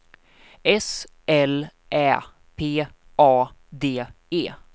S L Ä P A D E